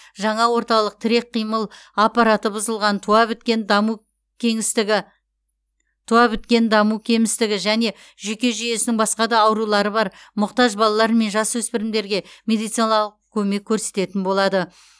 жаңа орталық тірек қимыл аппараты бұзылған туа біткен даму кемістігі туа біткен даму кемістігі және жүйке жүйесінің басқа да аурулары бар мұқтаж балалар мен жасөспірімдерге медициналық көмек көрсететін болады